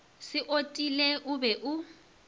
se otile o be o